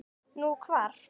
Nú, hvar?